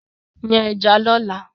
Yan ẹja yẹn lọ́la!